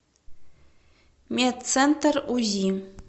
медцентр узи